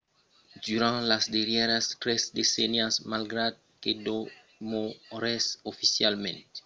durant las darrièras tres decennias malgrat que demorèsses oficialament un estat comunista china a desvolopat una economia de mercat